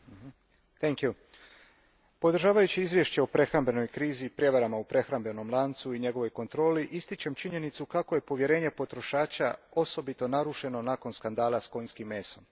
Poštovani g. predsjedniče, podržavajući izvješće o prehrambenoj krizi i prijevarama u prehrambenom lancu i njegovoj kontroli ističem činjenicu kako je povjerenje potrošača osobito narušeno nakon skandala s konjskim mesom.